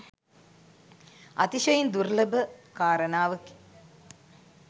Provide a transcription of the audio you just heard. අතිශයින් දුර්ලභ කාරණාවකි.